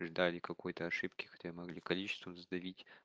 ждали какой-то ошибки хотя могли количеством задавить